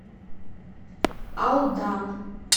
алдан